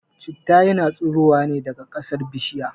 Citta yana tsurowa ne daga kasar bishirya